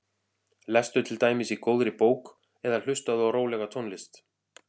Lestu til dæmis í góðri bók eða hlustaðu á rólega tónlist.